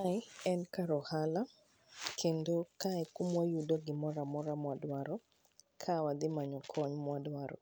Mae en kar ohala, kendo kae e kumwa yudo gimora mora mwa dwaro ka wadhi manyo kony mwa dwaro.